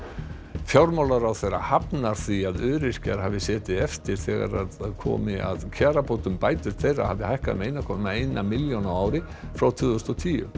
fjármálaráðherra hafnar því að öryrkjar hafi setið eftir þegar þegar komi að kjarabótum bætur þeirra hafi hækkað um eitt komma eina milljón á ári frá tvö þúsund og tíu